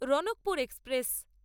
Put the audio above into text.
Ranakpur express